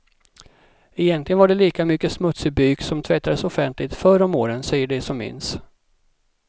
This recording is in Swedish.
Egentligen var det lika mycket smutsig byk som tvättades offentligt, förr om åren, säger de som minns.